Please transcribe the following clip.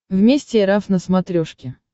вместе эр эф на смотрешке